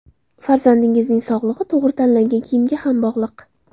Farzandingizning sog‘lig‘i to‘g‘ri tanlangan kiyimga ham bog‘liq.